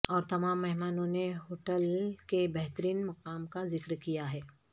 اور تمام مہمانوں نے ہوٹل کے بہترین مقام کا ذکر کیا ہے